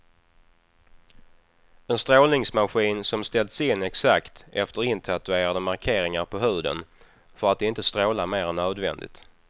En strålningsmaskin som ställs in exakt efter intatuerade markeringar på huden för att inte stråla mer än nödvändigt.